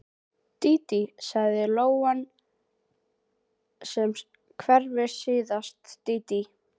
Dídí, segir lóan sem hvergi sést, dídí.